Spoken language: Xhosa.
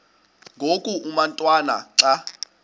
ngoku umotwana xa